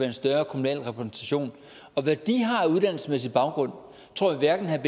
en større kommunal repræsentation og hvad de har at uddannelsesmæssig baggrund tror jeg hverken herre